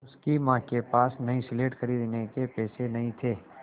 उसकी माँ के पास नई स्लेट खरीदने के पैसे नहीं थे